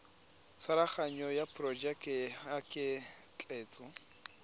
tshwaraganyo ya porojeke ya ketleetso